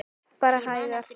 Bara hægar.